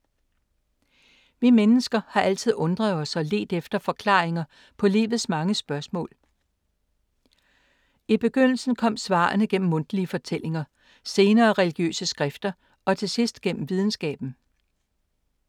Vi mennesker har altid undret os og ledt efter forklaringer på livets mange spørgsmål. I begyndelsen kom svarene gennem mundtlige fortællinger, senere religiøse skrifter og til sidst gennem videnskaben.